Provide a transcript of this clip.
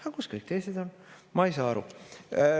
Aga kus kõik teised on?